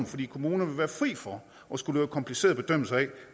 fordi kommunerne vil være fri for at skulle lave komplicerede bedømmelser af